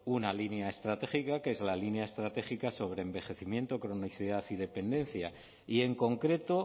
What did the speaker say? una línea estratégica que es la línea estratégica sobre envejecimiento cronicidad y dependencia y en concreto